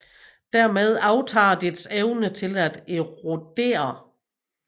Dermed aftager dets evne til at erodere